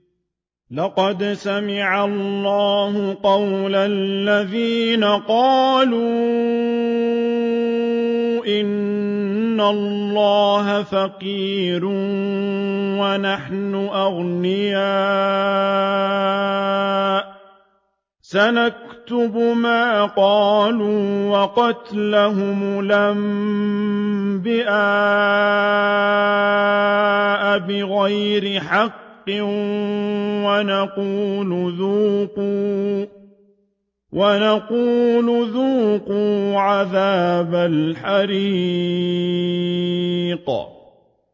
لَّقَدْ سَمِعَ اللَّهُ قَوْلَ الَّذِينَ قَالُوا إِنَّ اللَّهَ فَقِيرٌ وَنَحْنُ أَغْنِيَاءُ ۘ سَنَكْتُبُ مَا قَالُوا وَقَتْلَهُمُ الْأَنبِيَاءَ بِغَيْرِ حَقٍّ وَنَقُولُ ذُوقُوا عَذَابَ الْحَرِيقِ